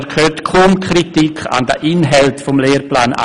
Er hört aber kaum Kritik an den Inhalten des Lehrplans